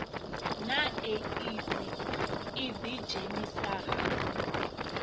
na eidzi u ḓidzhenisa ha